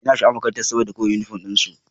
Ina sha'awar makarantar kawai saboda uniform din su.